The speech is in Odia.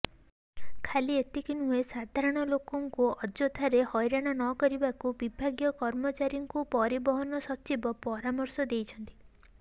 ଖାଲି ଏତିକି ନୁହେଁ ସାଧାରଣଲୋକଙ୍କୁ ଅଯଥାରେ ହଇରାଣ ନ କରିବାକୁ ବିଭାଗୀୟ କର୍ମଚାରୀଙ୍କୁ ପରିବହନ ସଚିବ ପରାମର୍ଶ ଦେଇଛନ୍ତି